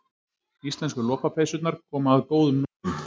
Íslensku lopapeysurnar koma að góðum notum